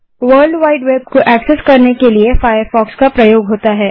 world wide web को access करने के लिए फ़ायरफ़ॉक्स का प्रयोग होता है